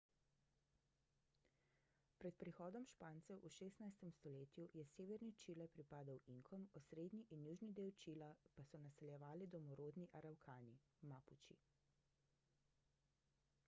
pred prihodom špancev v 16. stoletju je severni čile pripadal inkom osrednji in južni del čila pa so naseljevali domorodni aravkani mapuči